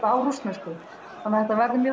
á rússnesku þannig þetta verður